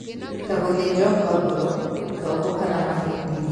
Ta gũthĩnjwo kwa ngoro, tombo, kana mahĩndĩ